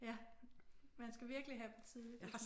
Ja man skal virkelig have dem tidligt